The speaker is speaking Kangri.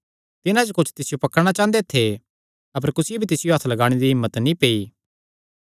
तिन्हां च कुच्छ तिसियो पकड़णा चांह़दे थे अपर कुसियो भी तिसियो हत्थ लगाणे दी हिम्मत नीं पेई